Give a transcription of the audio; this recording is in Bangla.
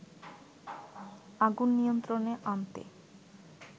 আগুন নিয়ন্ত্রণে আনতে